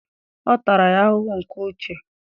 Ọ tara ya ahụhụ nke uche.